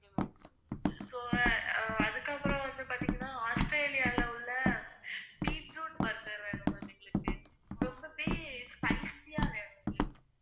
so அதுக்கப்புறம் வந்து பாத்தீங்கன்னா ஆஸ்திரேலியால உள்ள beetroot burger வேணும் ma'am எங்களுக்கு ரொம்பவே spicy ஆ வேணும் எங்களுக்கு.